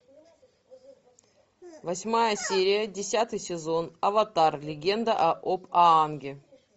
восьмая серия десятый сезон аватар легенда об аанге